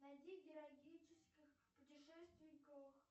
найди героических путешественников